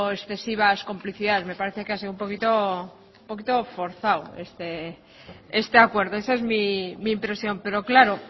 excesivas complicidades me parece que ha sido un poquito un poquito forzado este acuerdo esa es mi impresión pero claro